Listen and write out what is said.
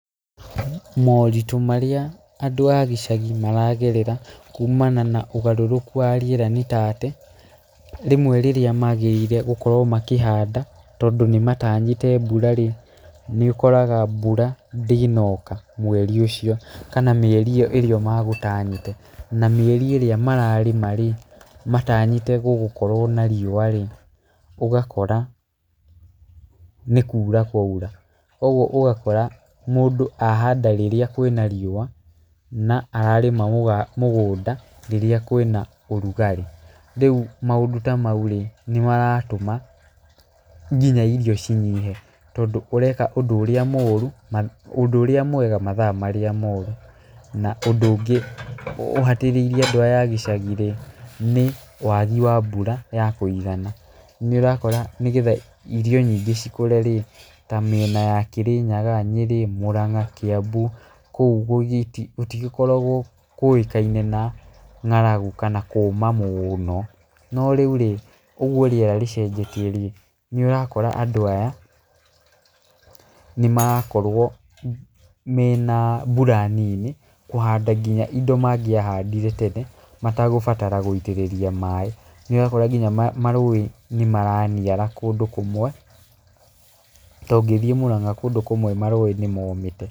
Moritũ marĩa andũ a gĩcagi maragerera kumana na ũgarũrũku wa rĩera nĩ ta atĩ, rĩmwe rĩrĩa magĩrĩire gũkorwo makĩhanda tondũ nĩmatanyĩte mbura-rĩ, nĩũkoraga mbura ndĩnoka mweri ũcio kana mĩeri ĩyo magũtanyĩte. Na mĩeri ĩrĩa mararĩma-rĩ, matanyĩte gũgũkorwo na riũa-rĩ, ũgakora nĩ kura kwaura. Ũguo ũgakora mũndũ ahanda rĩrĩa kwĩna riũa, na ararĩma mũgũnda rĩrĩa kwĩna ũrugarĩ. Rĩu maũndũ ta mau-rĩ, nĩmaratũma nginya irio cinyihe, tondũ ũreka ũndũ ũrĩa mũru, ũndũ ũrĩa mwega mathaa marĩa moru. Na ũndũ ũngĩ ũhatĩrĩirie andũ aya a gĩcagi-rĩ, nĩ wagi wa mbura ya kũigana. Nĩũrakora nĩgetha irio nyingĩ cikũre-rĩ, ta mĩena ya Kĩrĩnyaga, Nyĩrĩ, Mũranga, Kĩambu, kũu gũtigĩkoragwo kũĩkaine na ng'aragu kana kũũma mũũno. No rĩu-rĩ, ũguo rĩera rĩcenjetie-rĩ, nĩũrakora andũ aya nĩmarakorwo mena mbura nini kũhanda kinya indo mangĩahandire tene mategũbatara gũitĩrĩria maĩ. Nĩũrakora kinya marũĩ nĩmaraniara kũndũ kũmwe, ta ũngĩthiĩ Mũranga kũndũ kũmwe marũĩ nĩmomĩte.